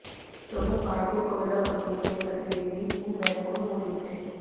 प्रमुख भारतीय कोयला कंपनियों के प्रतिनिधि भी इन बैठकों में मौजूद थे